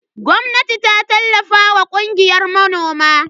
Gwamnati ta tallafa wa kungiyar manoman.